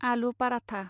आलु पाराथा